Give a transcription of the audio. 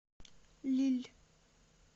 лилль